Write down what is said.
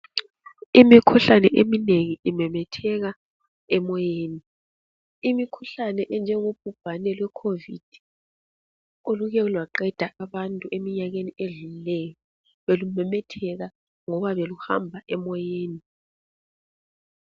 Imikhuhlane eminengi imemetheka emoyeni. Imikhuhlane enjengobhubhane lwecovid, olukelwaqeda abantu eminyakeni edlulileyo, belumemetheka ngoba beluhamba emoyeni.